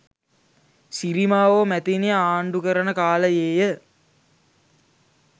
සිරිමාවෝ මැතිණිය ආණ්ඩු කරන කාලයේය.